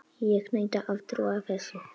Ég neita að trúa þessu.